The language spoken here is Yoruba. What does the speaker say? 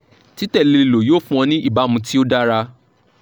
titẹle lo yoo fun ọ ni ibamu ti o dara